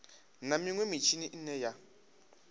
na minwe mitshini ine ya